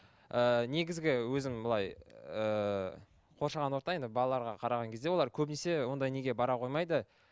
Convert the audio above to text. ыыы негізгі өзім былай ыыы қоршаған орта енді балаларға қараған кезде олар көбінесе ондай неге бара қоймайды